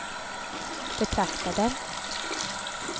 betraktade